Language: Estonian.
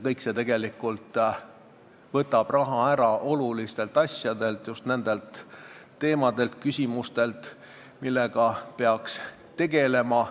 Kõik see võtab raha ära olulistelt asjadelt, just nendelt teemadelt ja küsimustelt, millega peaks tegelema.